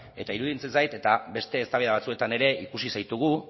eta iruditzen zait eta beste eztabaida batzuetan ere ikusi zaitugu